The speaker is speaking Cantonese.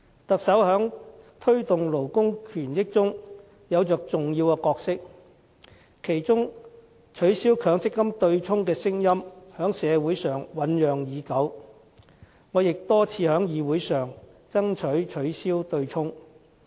特首在推動勞工權益中有着重要的角色，其中取消強制性公積金對沖的聲音在社會上醞釀已久，我也多次在議會上爭取取消對沖。